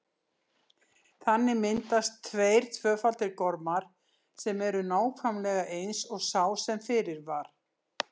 Þannig myndast tveir tvöfaldir gormar sem eru nákvæmlega eins og sá sem fyrir var.